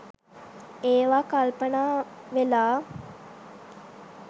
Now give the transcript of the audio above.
ඒවා කල්පනා වෙලා